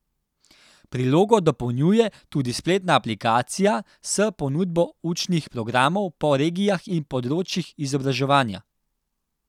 Prilogo dopolnjuje tudi spletna aplikacija s ponudbo učnih programov po regijah in področjih izobraževanja.